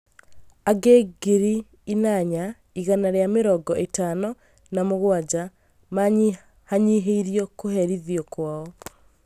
Angĩ ngiri inanya igana rĩa mĩrongo ĩtano na mũgwanja manyihanyihĩirio kũherithio kwao